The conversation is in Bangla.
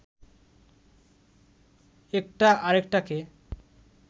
একটা আরেকটাকে